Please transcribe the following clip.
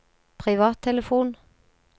privattelefon